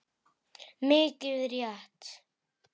Mikið rétt.